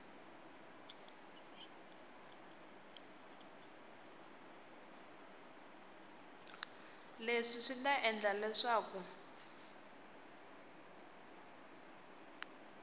leswi swi ta endla leswaku